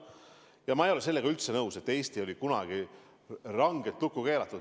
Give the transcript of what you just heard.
Ja ma ei ole sellega üldse nõus, et Eesti oli kunagi rangelt lukku keeratud.